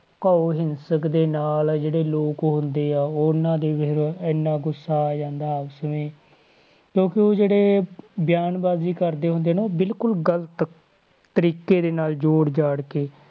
~ਕਾਊ ਹਿੰਸਕ ਦੇ ਨਾਲ ਜਿਹੜੇ ਲੋਕ ਹੁੰਦੇ ਆ ਉਹਨਾਂ ਦੇ ਇੰਨਾ ਗੁੱਸਾ ਆ ਜਾਂਦਾ ਕਿਉਂਕਿ ਉਹ ਜਿਹੜੇ ਬਿਆਨਬਾਜ਼ੀ ਕਰਦੇ ਹੁੰਦੇ ਨਾ ਬਿਲਕੁਲ ਗ਼ਲਤ ਤਰੀਕੇ ਦੇ ਨਾਲ ਜੋੜ ਜਾੜ ਕੇ,